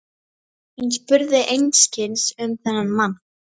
Hann spurði einskis um þennan mann.